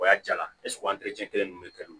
O y'a jala kelen ninnu bɛ kɛ nɔn